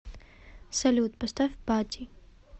салют поставь пати